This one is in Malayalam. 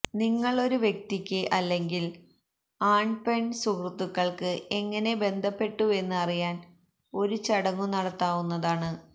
നിങ്ങൾ ഒരു വ്യക്തിക്ക് അല്ലെങ്കിൽ ആൺപെൺ സുഹൃത്തുക്കൾക്ക് എങ്ങനെ ബന്ധപ്പെട്ടുവെന്ന് അറിയാൻ ഒരു ചടങ്ങു നടത്താവുന്നതാണ്